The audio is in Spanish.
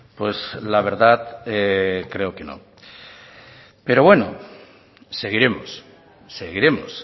pues la verdad creo que no pero bueno seguiremos seguiremos